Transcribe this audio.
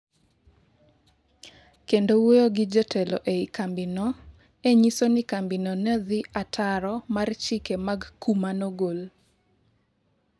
kendo wuoyo gi jotelo ei kambi no e nyiso ni kambino ne odhi ataro mar chike mag kum manogol